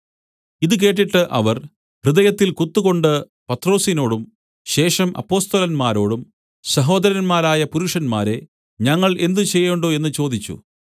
ഇത് കേട്ടിട്ട് അവർ ഹൃദയത്തിൽ കുത്തുകൊണ്ട് പത്രൊസിനോടും ശേഷം അപ്പൊസ്തലന്മാരോടും സഹോദരന്മാരായ പുരുഷന്മാരേ ഞങ്ങൾ എന്ത് ചെയ്യേണ്ടു എന്ന് ചോദിച്ചു